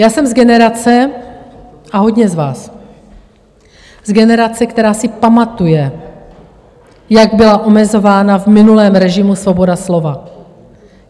Já jsem z generace, a hodně z vás, z generace, která si pamatuje, jak byla omezována v minulém režimu svoboda slova.